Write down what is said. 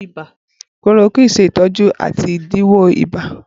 Chloroquine ṣe itọju ati idilọwọ ibà.